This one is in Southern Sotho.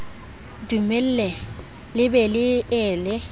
dumelle le be le ele